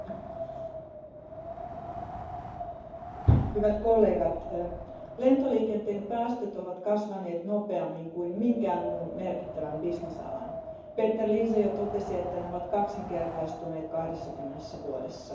Arvoisa puhemies, hyvät kollegat, lentoliikenteen päästöt ovat kasvaneet nopeammin kuin minkään muun merkittävän bisnesalan. Peter Liese jo totesi, että ne ovat kaksinkertaistuneet 20 vuodessa.